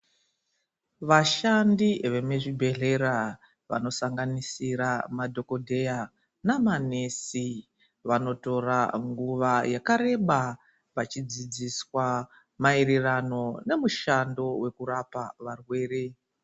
Vashandi vemizvibhedhlera vanosanganisira madhokodheya namanesi , vanotora nguva yakareba vachidzidziswa maererano nemushando wekurapa varwere.